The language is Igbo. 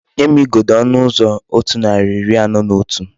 Nye m igodo onu uzo 141